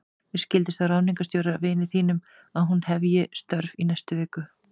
Mér skildist á ráðningarstjóra, vini þínum, að hún hefji störf í næstu viku.